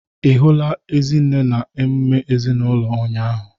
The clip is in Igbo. Ị hụla Ezinne na emume ezinụlọ ụnyaahụ?